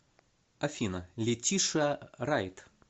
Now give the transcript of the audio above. афина летишиа райт